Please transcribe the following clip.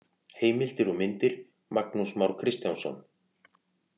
Heimildir og myndir: Magnús Már Kristjánsson.